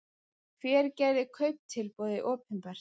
Hver gerði kauptilboðið opinbert